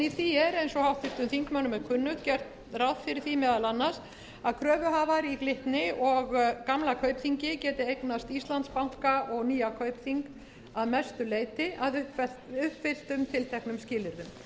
í því er eins og háttvirtum þingmönnum er kunnugt gert ráð fyrir því meðal annars að kröfuhafar í glitni og gamla kaupþingi geti eignast íslandsbanka og nýja kaupþing að mestu leyti að uppfylltum tilteknum skilyrðum einnig fjallaði nefndin